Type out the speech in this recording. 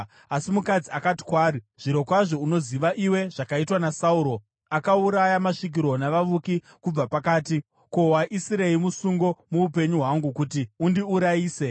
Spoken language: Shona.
Asi mukadzi akati kwaari, “Zvirokwazvo unoziva iwe zvakaitwa naSauro. Akauraya masvikiro navavuki kubva panyika. Ko, waisirei musungo muupenyu hwangu kuti undiurayise?”